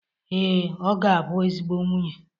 Ee, ọ ga-abụ ezigbo nwunye